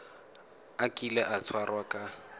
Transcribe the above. a kile a tshwarwa ka